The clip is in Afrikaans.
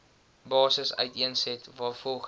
basis uiteensit waarvolgens